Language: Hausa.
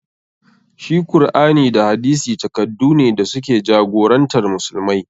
Shi Kur'ani da hadisi takaddune da su ke jagorantar musulmai.